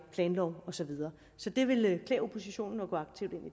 planloven og så videre så det ville klæde oppositionen at gå aktivt